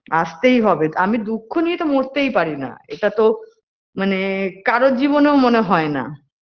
আসতেই হবে আমি দুঃখ নিয়ে তো মরতেই পারি না এটা তো মানে কারোর জীবনেও মনে হয় না